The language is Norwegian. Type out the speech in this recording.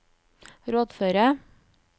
rådføre